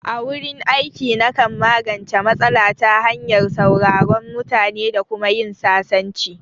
A wurin aiki, na kan magance matsala ta hanyar sauraron mutane da kuma yin sasanci